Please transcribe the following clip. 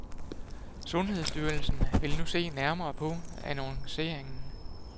Sundhedsstyrelsen vil nu se nærmere på annonceringen.